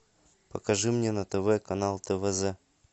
покажи мне на тв канал твз